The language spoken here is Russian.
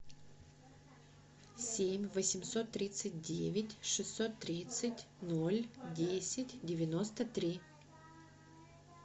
семь восемьсот тридцать девять шестьсот тридцать ноль десять девяносто три